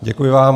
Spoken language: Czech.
Děkuji vám.